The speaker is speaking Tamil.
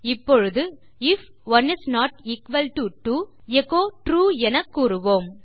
இப்பொழுது if 1 is not equal to 2 echo true என கூறுவோம்